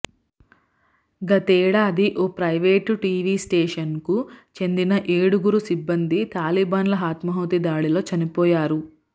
గతేడాది ఓ private TV స్టేషన్కు చెందిన ఏడుగురు సిబ్బంది తాలిబన్ల ఆత్మాహుతి దాడిలో చనిపోయారు